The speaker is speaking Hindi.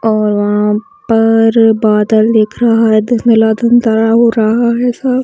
और वहाँ पर बादल दिख रहा है धुंधला - धुंधला हो रहा है सब --